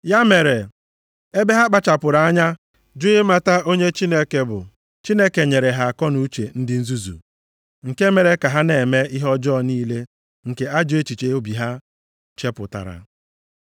Ya mere, ebe ha kpachapụrụ anya jụ ịmata onye Chineke bụ, Chineke nyere ha akọnuche ndị nzuzu, nke mere ka ha na-eme ihe ọjọọ niile nke ajọ echiche obi ha chepụtara.